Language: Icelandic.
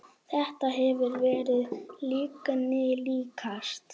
Þetta hefur verið lyginni líkast.